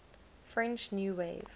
french new wave